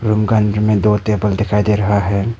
Room का अंदर में दो टेबल दिखाई दे रहा है।